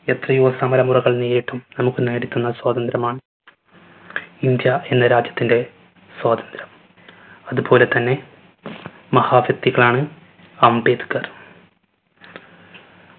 എത്രയോ സമരമുറകൾ നേരിട്ടും നമ്മുക്ക് നേടിത്തന്ന സ്വാതന്ത്ര്യമാണ്. ഇന്ത്യ എന്ന രാജ്യത്തിൻറെ സ്വാതന്ത്ര്യം. അത് പോലെത്തന്നെ മഹാ വ്യക്തികളാണ് അംബേദ്‌കർ